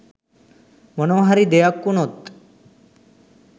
මොනවහරි දෙයක් වුණොත්